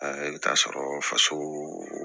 I bɛ taa sɔrɔ faso